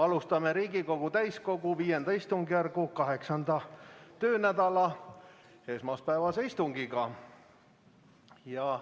Alustame Riigikogu täiskogu V istungjärgu 8. töönädala esmaspäevast istungit.